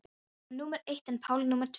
Hann var númer eitt en Páll númer tvö.